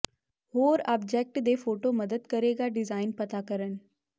ਹੋਰ ਆਬਜੈਕਟ ਦੇ ਫ਼ੋਟੋ ਮਦਦ ਕਰੇਗਾ ਡਿਜ਼ਾਇਨ ਪਤਾ ਕਰਨ